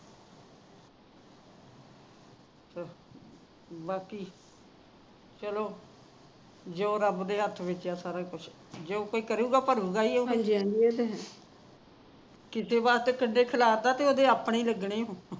ਬਾਕੀ ਚਲੋ ਜਦੋ ਰੱਬ ਦੇ ਹੱਥ ਵਿੱਚ ਹੈ ਸਾਰਾ ਕੁਝ ਜੋ ਕੋਈ ਕਰੂਗਾ ਭਰੂਗਾ ਉਹ ਤਾ ਕਿਸੇ ਵਾਸਤੇ ਖੱਡੇ ਖਿਲਾਰਦਾ ਉਹਦੇ ਆਪਣੇ ਹੀ ਲੱਗਣੇ ਨੇ